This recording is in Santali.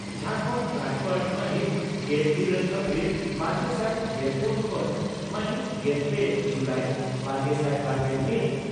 ᱡᱷᱟᱨᱠᱟᱱᱰ ᱨᱟᱡᱭᱚᱯᱟᱲ ᱺ ᱢᱟᱦᱤᱛ ᱜᱮᱞᱤᱨᱟᱹᱞ ᱮᱯᱨᱤᱞ ᱵᱟᱨᱜᱮᱥᱟᱭ ᱜᱮᱞᱯᱩᱱ ᱠᱷᱚᱱ ᱢᱟᱦᱤᱛ ᱜᱮᱞ ᱯᱮ ᱡᱩᱞᱟᱭ ᱵᱟᱨᱜᱮᱥᱟᱭ ᱵᱟᱨᱜᱮᱞ ᱢᱤᱛ ᱾